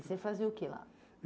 E você fazia o que lá?